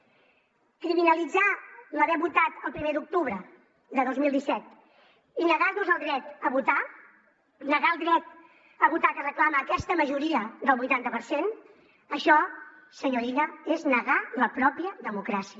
criminalitzar l’haver votat el primer d’octubre de dos mil disset i negar nos el dret a votar negar el dret a votar que reclama aquesta majoria del vuitanta per cent això senyor illa és negar la pròpia democràcia